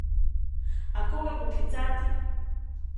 A koga poklicati?